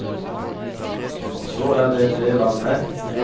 Og så er det en del av mæ, noe æ identifisere mæ med.